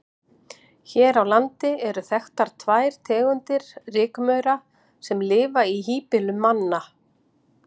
Hér á landi eru þekktar tvær tegundir rykmaura sem lifa í híbýlum manna.